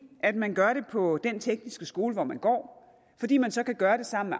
at man gør det på den tekniske skole hvor man går fordi man så kan gøre det sammen